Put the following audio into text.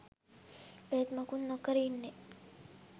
ඒත් මුකුත් නොකර ඉන්නේ